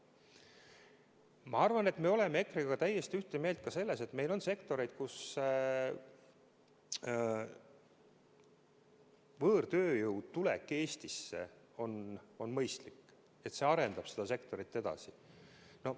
Ma arvan, et me oleme EKRE-ga täiesti ühte meelt ka selles, et meil on sektoreid, kuhu võõrtööjõu tulek on mõistlik, see arendab neid sektoreid edasi.